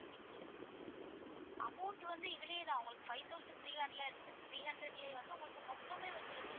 amount வந்து இதுலயேதான் உங்களுக்கு five thousand three hundred three hundred லையே வந்து உங்களுக்கு மொத்தமே வந்துடுது